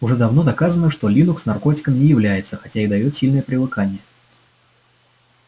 уже давно доказано что линукс наркотиком не является хотя и даёт сильное привыкание